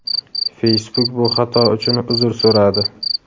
Facebook bu xato uchun uzr so‘radi.